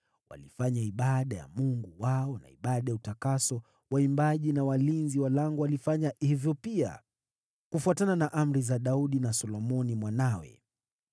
Walifanya ibada ya Mungu wao na ibada ya utakaso, nao waimbaji na walinzi wa lango wakafanya hivyo pia, kufuatana na amri za Daudi na Solomoni mwanawe.